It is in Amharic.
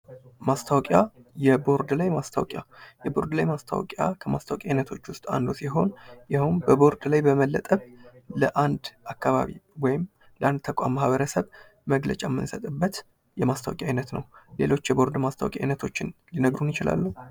ማስታወቂያ፦ የቦርድ ላይ ማስታወቂያ፦ የቦርድ ላይ ማስታወቂያ ከማስታወቂያ ዉስጥ አንዱ ሲሆን ይኸውም በቦርድ ላይ በመለጠፍ ለአንድ አካባቢ ወይም ለአንድ ተቋም ማህበረሰብ መግለጫ የምንሰጥበት የማስታወቂያ አይነት ነው። ሌሎች የቦርድ ማስታወቂያ አይነቶችን ሊነግሩን ይችላሉ?